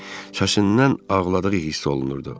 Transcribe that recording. Səsindən ağladığı hiss olunurdu.